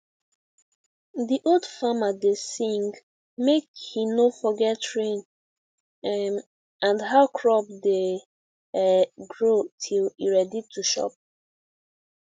the old farmer da sing make he no forget rain um and how crop da um grow till e ready to chop